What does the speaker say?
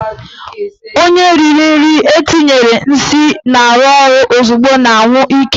Onye riri nri etinyere nsị na-arụ ọrụ ozugbo na-anwụ ike.